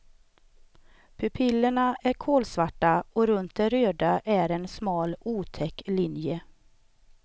Pupillerna är kolsvarta och runt det röda är en smal otäck linje.